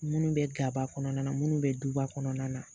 Munnu be gaba kɔnɔna na munnu be duba kɔnɔna na